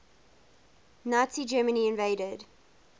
nazi germany invaded